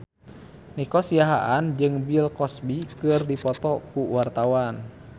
Nico Siahaan jeung Bill Cosby keur dipoto ku wartawan